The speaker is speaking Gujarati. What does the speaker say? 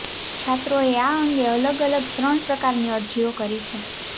છાત્રોઅે અા અંગે અલગ અલગ ત્રણ પ્રકારની અરજીઅો કરી છે